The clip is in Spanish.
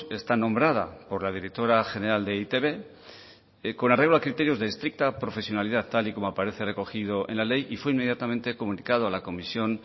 está nombrada por la directora general de e i te be con arreglo a criterios de estricta profesionalidad tal y como aparece recogido en la ley y fue inmediatamente comunicado a la comisión